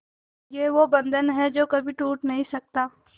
ये वो बंधन है जो कभी टूट नही सकता